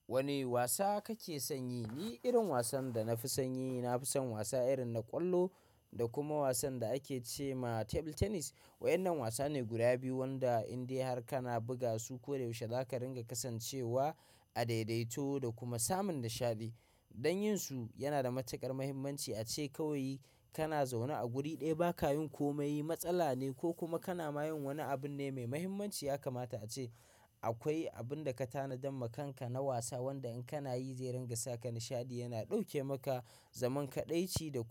Wane wasa kake son yi? Ni irin wasan da na fi son yi, na fi son wasa irin na ƙwallo da kuma wasan da ake ce ma table tennis. Wa'yannan wasane guda biyu wanda in dai har kana buga su koyaushe zaka ringa kasancewa a daidaito da kuma samun nishaɗi. Don yin su yana da matuƙar mahimmanci ace kawai kana zaune a guri ɗaya ba kayin komai matsala ne ko kuma kana mayin wani abun ne mai mahimmanci. Ya kamata ace akwai abun da ka tanadam ma kanka na wasa wanda in kana yi zai ringa saka nishaɗi, yana ɗauke maka zaman kaɗaici da kuma.